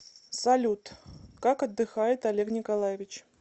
салют как отдыхает олег николаевич